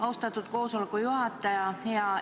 Austatud koosoleku juhataja!